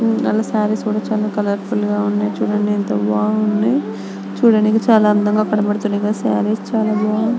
సారీస్ కూడా చాలా కోలోర్ఫుల్ గ ఉంది చుడండి యెంత బాగుంది చాలా అందంగా కనబడుతుంది సారీస్ చాలా బాగుంది.